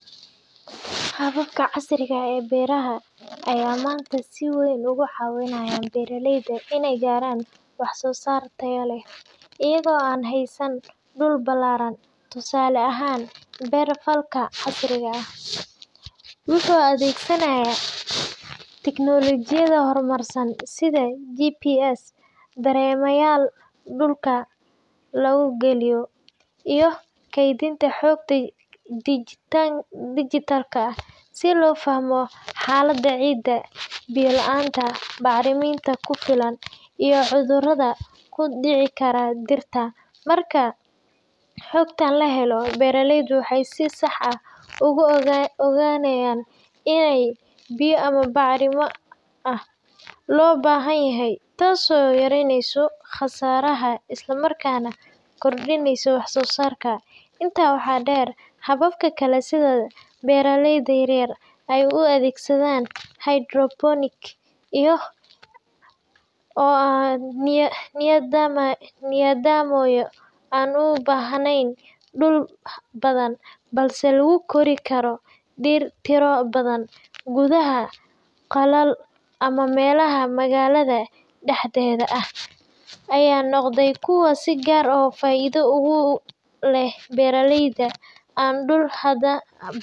Hababka casriga ah ee beeraha ayaa maanta si weyn uga caawinaya beeraleyda inay gaaraan wax-soosaar tayo leh, iyagoo aan haysan dhul ballaaran. Tusaale ahaan, beer-falka casriga ah wuxuu adeegsanayaa tignoolajiyado horumarsan sida GPS, dareemayaal dhulka lagu geliyo , iyo kaydinta xogta dijitaalka ah si loo fahmo xaaladda ciidda, biyo la’aanta, bacriminta ku filan, iyo cudurrada ku dhici kara dhirta. Marka xogtan la helo, beeraleydu waxay si sax ah u ogaanayaan inta biyo ama bacrimin ah ee loo baahan yahay, taas oo yareyneysa khasaaraha isla markaana kordhineysa wax-soosaarka. Intaa waxaa dheer, habab kale sida beeraleyda yaryar ay u adeegsadaan hydroponics iyo oo ah nidaamyo aan u baahnayn dhul badan balse lagu kori karo dhir tiro badan gudaha qolal ama meelaha magaalada dhexdeeda ah – ayaa noqday kuwo si gaar ah faa’iido ugu leh beeraleyda aan dhul.